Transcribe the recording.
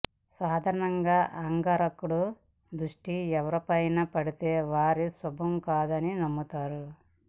సాధారణంగా అంగారకుడి దృష్టి ఎవరిపైనైన పడితే అది శుభం కాదని నమ్ముతారు